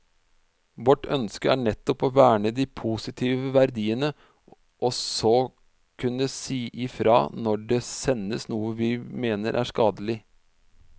Vårt ønske er nettopp å verne de positive verdiene og så kunne si ifra når det sendes noe vi mener er skadelig.